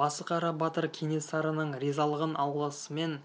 басықара батыр кенесарының ризалығын алысымен